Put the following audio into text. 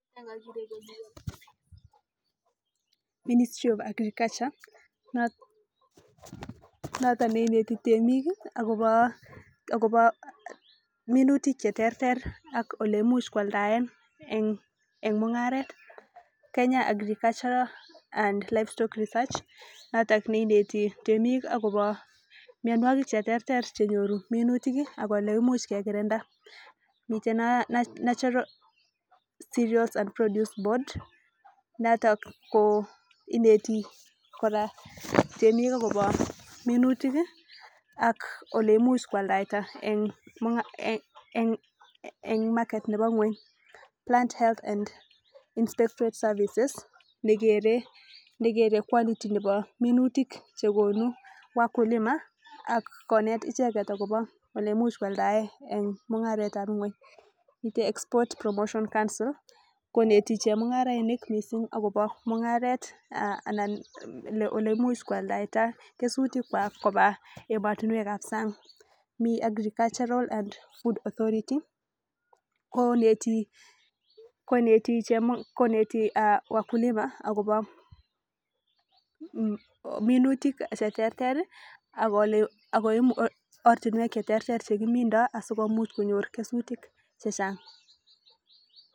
ministry of agriculture notok neineti temik akobo minutik cheterter ak ole imuch kwaldais eng mungaret kenya agriculture and livestock research notok neineti temik akobo mianwokik cheterter chenyoru minutik ak ole kimuch kekirinda mite national cerials and produce board notok ineti temik kora akobo minutik ako ole imuch kwaldaita eng market nebo ngony plant health and in secret services nekere quality nebo minutik chegonu wakulima akonet icheket akobo ole imuch kwaldae eng mungaretab ngony mite export promotion council koneti chemungarainik mising akobo mungaret anan ole imuch kwaldaita kesutik kwak koba ematinwekab sang mii agricultural and food authority koneti wakulima akobo minutik cheterter akoborchi ortinwek cheterter chekimindoi asikobit konyor kesutik chechang.